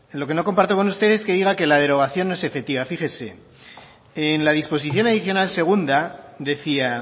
lo que no comparto con usted es que diga que la derogación no es efectiva fíjese en la disposición adicional segunda decía